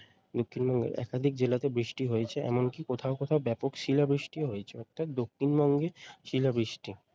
দক্ষিণবঙ্গের একাধিক জেলাতে বৃষ্টি হয়েছে এমনকী কোথাও কোথাও ব্যাপক শিলাবৃষ্টিও হয়েছে অর্থাৎ দক্ষিণবঙ্গে শিলা বৃষ্টি